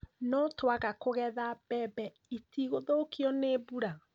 No twaga kũgetha mbemeb itigũthũkio nĩ mbura?